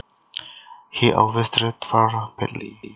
He always treated her badly